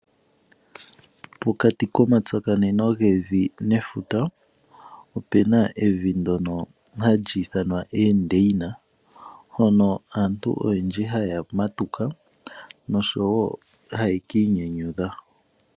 Pokati komatsakaneno gevi nefuta opu na evi ndono hali ithanwa Endeina hono aantu oyendji haye ya okumatuka noshowo haye kiinyanyudha.